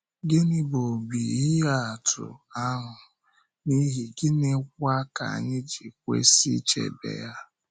Gịnị bụ ọ̀bì ihe atụ ahụ, n’ihi gịnịkwa ka anyị ji kwesị ichebe ya?